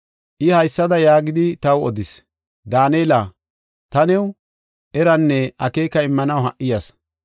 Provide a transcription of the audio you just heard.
I haysada yaagidi, taw odis: “Daanela, ta new eranne akeeka immanaw ha77i yas.